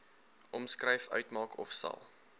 omskryf uitmaak ofsal